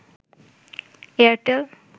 Airtel